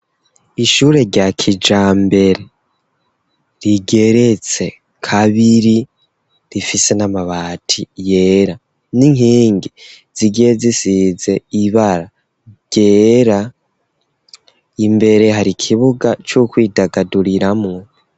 ishure rya kijambere rigeretse kabiri rifise n'amabati yera n'inkengi zigiye zisize ibara ryera. Imbere hari ikibuga c'ukwidagaduriramwo